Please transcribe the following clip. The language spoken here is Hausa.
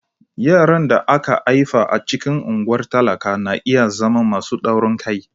Yaran da aka haifa a cikin unguwar talakawa na iya zama masu taurin kai.